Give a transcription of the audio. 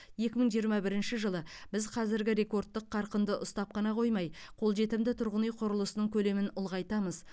екі мың жиырма бірінші жылы біз қазіргі рекордтық қарқынды ұстап қана қоймай қолжетімді тұрғын үй құрылысының көлемін ұлғайтамыз